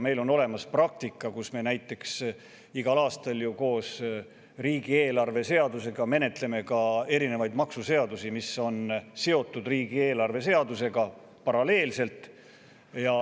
Meil on olemas praktika, et me näiteks igal aastal ju riigieelarve seadusega paralleelselt menetleme ka erinevaid maksuseadusi, mis on riigieelarve seadusega seotud.